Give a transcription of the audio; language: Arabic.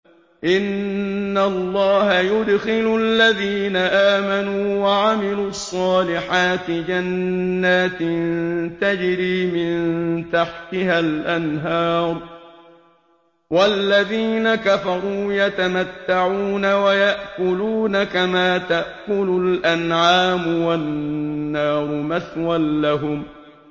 إِنَّ اللَّهَ يُدْخِلُ الَّذِينَ آمَنُوا وَعَمِلُوا الصَّالِحَاتِ جَنَّاتٍ تَجْرِي مِن تَحْتِهَا الْأَنْهَارُ ۖ وَالَّذِينَ كَفَرُوا يَتَمَتَّعُونَ وَيَأْكُلُونَ كَمَا تَأْكُلُ الْأَنْعَامُ وَالنَّارُ مَثْوًى لَّهُمْ